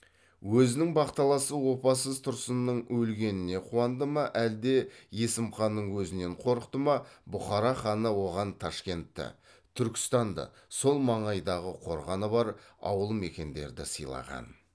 өзінің бақталасы опасыз тұрсынның өлгеніне қуанды ма әлде есімханның өзінен қорықты ма бұхара ханы оған ташкентті түркістанды сол маңайдағы қорғаны бар ауыл мекендерді сыйлаған